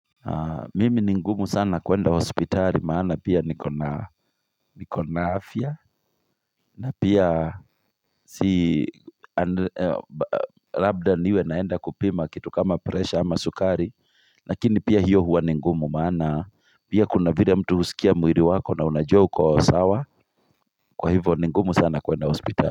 Mimi ni ngumu sana kuenda hospitali maana pia niko na afya na pia si labda niwe naenda kupima kitu kama presha ama sukari lakini pia hiyo huwa ni ngumu maana pia kuna vile mtu husikia mwili wako na unajua uko sawa kwa hivyo ni ngumu sana kuenda hospitali.